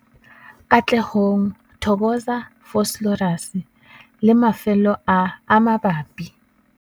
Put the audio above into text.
Katlehong, Thokoza, Vosloorus le mafelo a a mabapi.